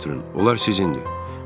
Onlar sizindir.